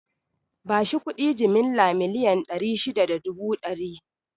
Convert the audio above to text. Bashi kuɗi jimilla miliyan ɗari shida da dubu ɗari